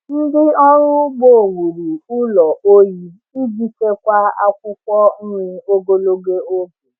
Ndị ọrụ ugbo wuru ụlọ oyi iji chekwaa akwụkwọ nri ogologo oge.